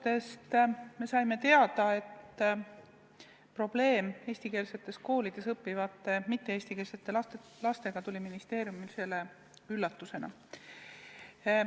Teie vastustest me saime teada, et probleem eestikeelsetes koolides õppivate mitte-eestikeelsete lastega tuli ministeeriumile üllatusena.